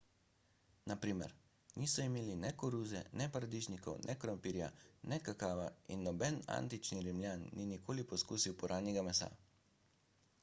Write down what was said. na primer niso imeli ne koruze ne paradižnikov ne krompirja ne kakava in noben antični rimljan ni nikoli poskusil puranjega mesa